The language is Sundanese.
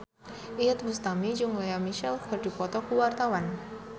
Iyeth Bustami jeung Lea Michele keur dipoto ku wartawan